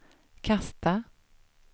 kasta